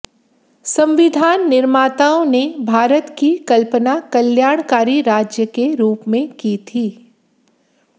संविधान निर्माताओं ने भारत की कल्पना कल्याणकारी राज्य के रूप में की थी